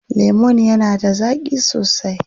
Lemon yana da zaƙi sosai.